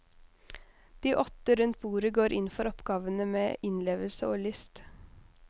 De åtte rundt bordet går inn for oppgavene med innlevelse og lyst.